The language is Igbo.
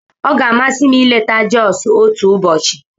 Ọ ga-amasị m ileta Josu otu ụbọchị.